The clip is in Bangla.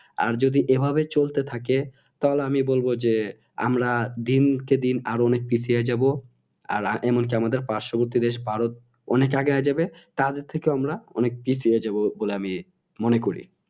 আর যদি এভাবে চলতে থাকে তাহলে আমি বলব যে আমারা দিনকে দিন আর অনেক পিছিয়ে যাব আর এমনকি আমাদের পার্শ্ববর্তী দেশ ভারত অনেক আগে হয়ে যাবে তাদের থেকে আমারা অনেক পিছিয়ে যাব বলে আমি মনে করি